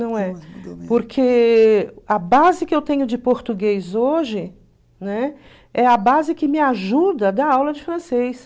Não é. Porque a base que eu tenho de português hoje, né, é a base que me ajuda a dar aula de francês.